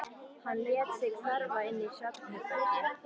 Hann lét sig hverfa inn í svefnherbergi.